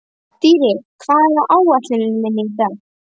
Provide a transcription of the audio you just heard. Dýri, hvað er á áætluninni minni í dag?